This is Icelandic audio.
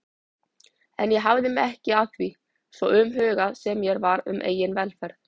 En ég hafði mig ekki að því, svo umhugað sem mér var um eigin velferð.